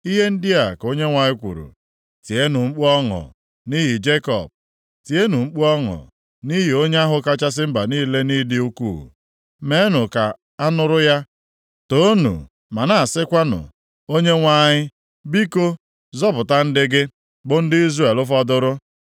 Ihe ndị a ka Onyenwe anyị kwuru, “Tienụ mkpu ọṅụ nʼihi Jekọb, tienụ mkpu ọṅụ nʼihi onye ahụ kachasị mba niile nʼịdị ukwuu. Meenụ ka a nụrụ ya, toonu ma na-asịkwanụ, ‘ Onyenwe anyị, biko, zọpụta ndị gị, bụ ndị Izrel fọdụrụ.’